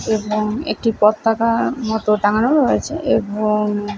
এবং একটি পতাকা মতো টানানো আছে। এবং--